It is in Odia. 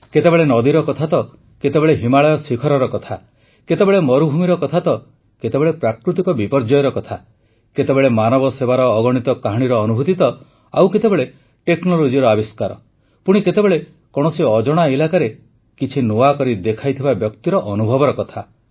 କେତେବେଳେ ନଦୀର କଥା ତ କେତେବେଳେ ହିମାଳୟର ଶିଖରର କଥା କେତେବେଳେ ମରୁଭୂମିର କଥା ତ କେତେବେଳେ ପ୍ରାକୃତିକ ବିପର୍ଯ୍ୟୟର କଥା କେତେବେଳେ ମାନବ ସେବାର ଅଗଣିତ କାହାଣୀର ଅନୁଭୂତି ତ ଆଉ କେତେବେଳେ ଟେକ୍ନୋଲୋଜିର ଆବିଷ୍କାର ପୁଣି କେତେବେଳେ କୌଣସି ଅଜଣା ଇଲାକାରେ କିଛି ନୂଆ କରି ଦେଖାଇଥିବା ବ୍ୟକ୍ତିର ଅନୁଭବର କଥା